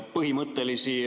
Küsimus!